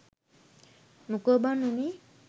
මොකෝ බන් වුනේ.